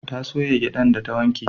Ta soya gyadan da ta wanke